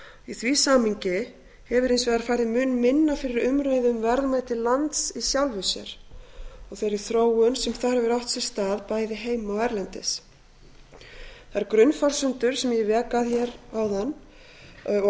í þessu samhengi hefur hins vegar farið mun minna fyrir umræðu um verðmæti lands í sjálfu sér og þeirri þróun sem þar hefur átt sér stað bæði heima og erlendis þær grunnforsendur sem ég vék að hér áðan og